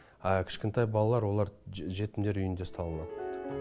а кішкентай балалар олар жетімдер үйінде ұсталынады